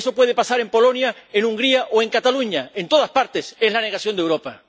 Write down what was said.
eso puede pasar en Polonia, en Hungría o en Cataluña en todas partes es la negación de Europa.